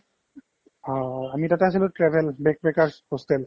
হ, আমি তাতে আছিলো travel rest maker hostel